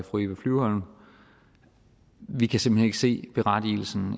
fru eva flyvholm vi kan simpelt hen ikke se berettigelsen